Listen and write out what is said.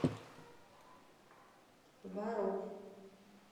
вару